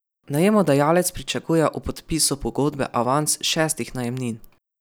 Najemodajalec pričakuje ob podpisu pogodbe avans šestih najemnin.